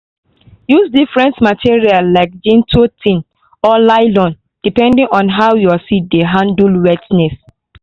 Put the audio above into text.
use different material like jute tin or nylon depending on how your seed dey handle wetness.